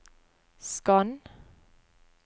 skann